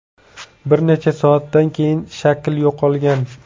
Bir necha soatdan keyin shakl yo‘qolgan.